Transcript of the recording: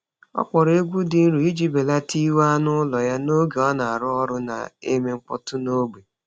Ọ kpọọrọ egwu dị nro iji belata iwe anụ ụlọ ya n’oge a na-arụ ọrụ na-eme mkpọtụ n’ógbè.